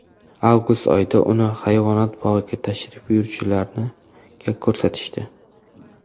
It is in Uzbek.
Avgust oyida uni hayvonot bog‘iga tashrif buyuruvchilarga ko‘rsatishdi.